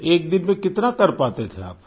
तो एक दिन में कितना कर पाते थे आप